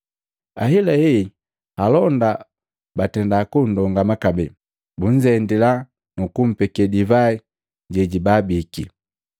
Ahelahe alonda batenda kundongama kabee, bunzendila nu kumpeke divai jejibabiki,